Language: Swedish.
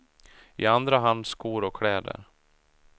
I andra hand skor och kläder.